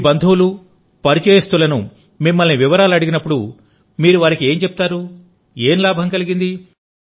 మీ బంధువులు పరిచయస్తులను మిమ్మల్ని వివరాలు అడిగినప్పుడు మీరు వారికి ఏం చెప్తారు ఏం లాభం కలిగింది